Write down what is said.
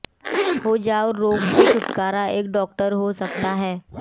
हो जाओ रोग से छुटकारा एक डॉक्टर हो सकता है